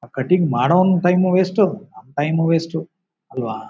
ಆ ಕಟಿಂಗ್ ಮಾಡೊನ್ time waste ನಮ್ ಟೈಮು ವೇಸ್ಟ್ ಅಲ್ವಾ?